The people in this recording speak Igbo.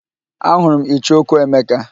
Ahụrụ m icheoku Emeka